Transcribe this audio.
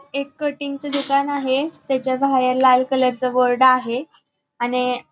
एक कटिंग च दुकान आहे त्याच्या बाहेर लाल कलर च बोर्ड आहे आणि --